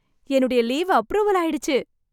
என்னுடைய leave approval ஆயிடுச்சு.